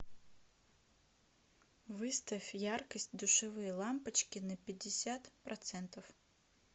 выставь яркость душевые лампочки на пятьдесят процентов